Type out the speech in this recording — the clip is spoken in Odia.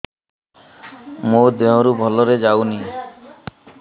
ମୋ ଦିହରୁ ଭଲରେ ଯାଉନି